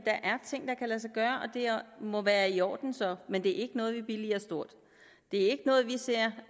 må være i orden så men det er ikke noget vi billiger stort det er ikke noget vi ser